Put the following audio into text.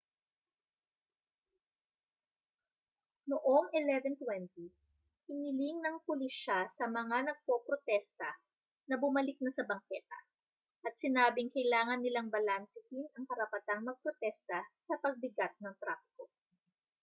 noong 11:20 hiniling ng pulisya sa mga nagpoprotesta na bumalik na sa bangketa at sinabing kailangan nilang balansehin ang karapatang magprotesta sa pagbigat ng trapiko